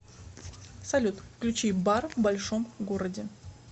салют включи бар в большом городе